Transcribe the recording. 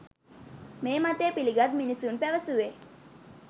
මේ මතය පිළිගත් මිනිසුන් පැවසුවේ